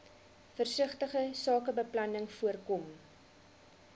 versigtige sakebeplanning voorkom